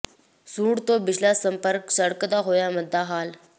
ਸੂੰਢ ਤੋਂ ਬੀਸਲਾ ਸੰਪਰਕ ਸੜਕ ਦਾ ਹੋਇਆ ਮੰਦਾ ਹਾਲ